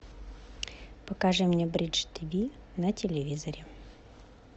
покажи мне бридж тиви на телевизоре